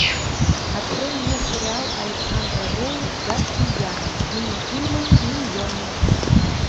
открой мне сериал александра роу гадкий я мини фильмы миньоны